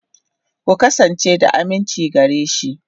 Ku kasance da aminci gare shi.